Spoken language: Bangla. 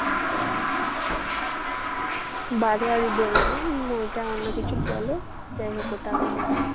বাড়োয়ারি বলে না উম ওইটা অন্যকিছু বলে। যাই হোক ওটা আমি জানি।